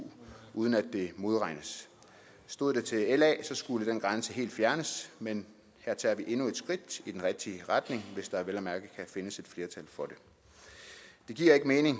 uden at det modregnes stod det til la skulle den grænse helt fjernes men her tager vi endnu et skridt i den rigtige retning hvis der vel at mærke kan findes et flertal for det det giver ikke mening